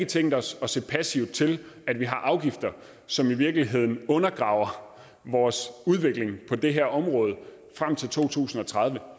tænkt os at se passivt til at vi har afgifter som i virkeligheden undergraver vores udvikling på det her område frem til 2030